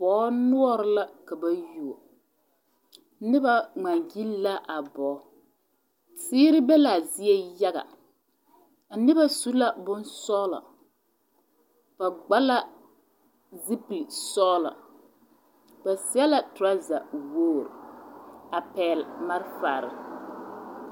Koɔ noɔre la ka ba yuo noba ŋmaagyili la a bogi teere be l,a zie yaga a noba su la bonsɔglɔ ba gba la zupilisɔglɔ ba seɛ la torɔzawogri a pɛgle malfare.